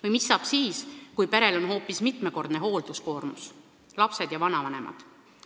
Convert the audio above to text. Või mis saab siis, kui perel on hoopis mitmekordne hoolduskoormus: lapsed ja vanavanemad?